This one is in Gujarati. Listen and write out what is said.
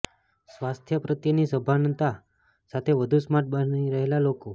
સ્વાસ્થ્ય પ્રત્યેની સભાનતા સાથે વધુ સ્માર્ટ બની રહેલા લોકો